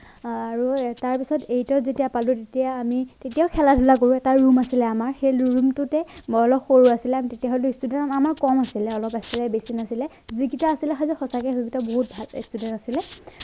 আৰু তাৰ পিছত eight যেতিয়া পালোঁ তেতিয়া আমি তেতিয়াও খেলা ধূলা কৰোঁ এটা room আছিলে আমাৰ সেই room টোতে মই অলপ সৰু আছিলো তেতিয়া হলেও student আমাৰ কম আছিলে অলপ আছিলে বেছি নাছিলে যিকিটা আছিলে সেইটো সঁচাকে সেইকিটা বহুত ভাল student আছিলে